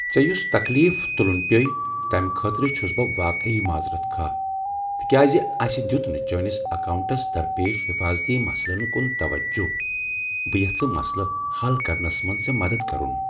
ژےٚ یُس تکلیف تُلن پیووُے تمہ خٲطرٕ چُھس بہٕ واقعی معذرت خواہ تِکیازِ اَسِہ دِیُت نہٕ چٲنِس اکاونٹس درپیش حفٲظتی مسلن کُن توجہ بہٕ یژھہٕ مسلہٕ حل کرنس منٛز ژےٚ مدد کرُن۔